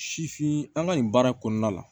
Sifin an ka nin baara kɔnɔna la